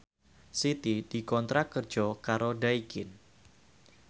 Siti dikontrak kerja karo Daikin